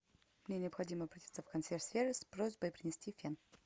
мне необходимо обратиться в консьерж сервис с просьбой принести фен